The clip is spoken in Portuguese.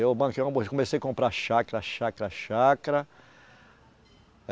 Eu banquei uma, comecei a comprar chácara, chácara, chácara